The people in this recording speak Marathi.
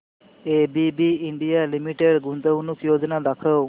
एबीबी इंडिया लिमिटेड गुंतवणूक योजना दाखव